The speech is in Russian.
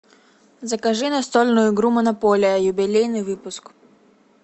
закажи настольную игру монополия юбилейный выпуск